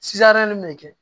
min bɛ kɛ